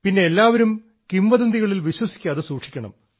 പിന്നെ എല്ലാവരും കിംവദന്തികളിൽ വിശ്വസിക്കാതെ സൂക്ഷിക്കണം